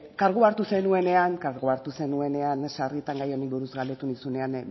kargua hartu zenuenean sarritan gai honi buruz galdetu nizunean